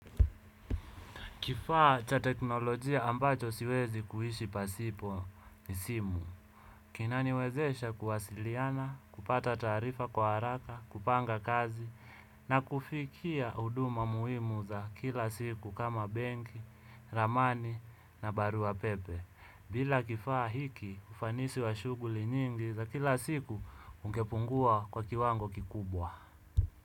Kifaa cha teknolojia ambacho siwezi kuishi pasipo ni simu. Kinaniwezesha kuwasiliana, kupata taarifa kwa haraka, kupanga kazi, na kufikia huduma muhimu za kila siku kama benki, ramani na barua pepe. Bila kifaa hiki ufanisi wa shughuli nyingi za kila siku ungepungua kwa kiwango kikubwa.